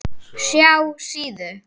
SJÁ SÍÐU.